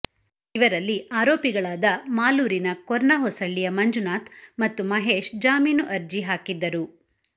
ಇವರಲ್ಲಿ ಆರೋಪಿಗಳಾದ ಮಾಲೂರಿನ ಕೊರ್ನಹೊಸಳ್ಳಿಯ ಮಂಜುನಾಥ್ ಮತ್ತು ಮಹೇಶ್ ಜಾಮೀನು ಅರ್ಜಿ ಹಾಕಿದ್ದರು